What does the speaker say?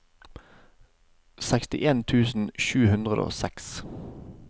sekstien tusen sju hundre og seks